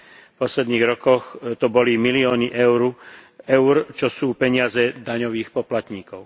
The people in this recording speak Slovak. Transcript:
V posledných rokoch to boli milióny eur, čo sú peniaze daňových poplatníkov.